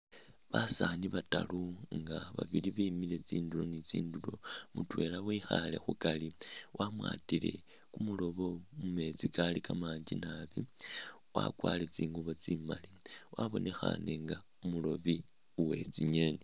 Basaani bataru nga babili bemile tsindulo ni tsindulo mutwela wekhaale khukari wamwatile kumurobo mu meetsi kali kamangi naabi, wakwarire tsingubo tsimaali, wabonekhane nga umurobi uwe tsingeeni.